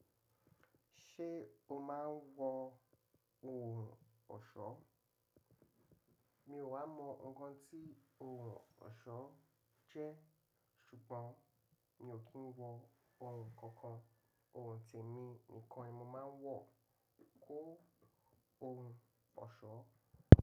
Ṣé o máa ń wọ ohun ọ̀ṣọ́? Mi ò wá nkàn tí ohun ọ̀ṣọ́ jẹ́ ṣùgbọ́n mi ò kí ń wọ ohun kankan. Ohun tẹ̀mí nìkan ni mo máa ń wọ kó ohun ọ̀ṣọ́.